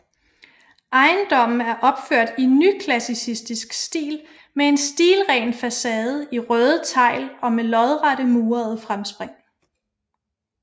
Ejendommen er opført i nyklassicistisk stil med en stilren facade i røde tegl og med lodrette murede fremspring